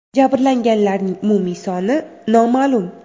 Jabrlanganlarning umumiy soni noma’lum.